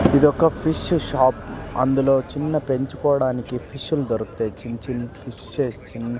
ఇదొక fish shop అందులో చిన్న పెంచుకోవడానికి ఫిష్ లు దొరుకుతాయి చిన్-చిన్ ఫిషెస్ చిన్న --